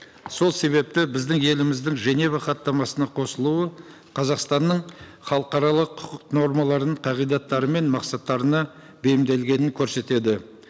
сол себепті біздің еліміздің женева хаттамасына қосылуы қазақстанның халықаралық құқық нормаларының қағидаттары мен мақсаттарына бейімделгенін көрсетеді